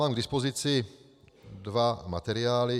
Mám k dispozici dva materiály.